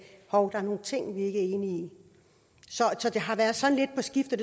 hov der er nogle ting vi er ikke enige i så det har været sådan lidt på skift